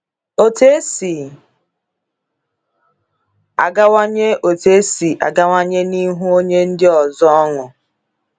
Otu esi agawanye Otu esi agawanye n’ihu onye ndị ọzọ ọṅụ.